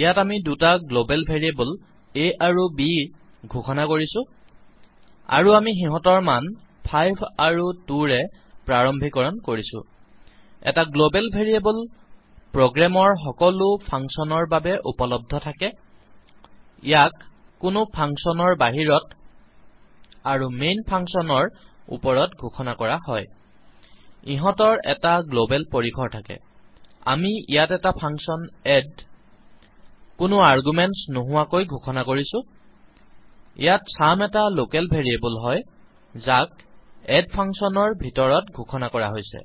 ইয়াত আমি দুটা গ্লবেল ভেৰিয়েবল a আৰু bঘোষনা কৰিছো আৰু আমি সিহঁতৰ মান 5৫ আৰু 2২ ৰে প্ৰাৰম্ভিকৰণ কৰিছো এটা গ্লবেল ভেৰিয়েবল প্ৰোগ্ৰামৰ সকলো ফাংচন ৰ বাবে উপলব্ধ থাকে ইয়াক কোনো ফাংচনৰ বাহিৰত আৰু mainফাংচনৰ ওপৰত ঘোষণা কৰা হয় ইহঁতৰ এটা গ্লবেল পৰিসৰ থাকে আমি ইয়াত এটা ফাংচন এড কোনো আৰগুমেন্ত্চ নোহোৱাকৈ ঘোষণা কৰিছো ইয়াত চাম এটা লকেল ভেৰিয়েবল হয় যাক এড ফাংচন ৰ ভিতৰত ঘোষণা কৰা হৈছে